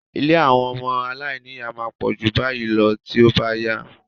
Ilé àwọn ọmọ aláìníyà máa pọ̀ ju báyìí lọ tí ó bá yá.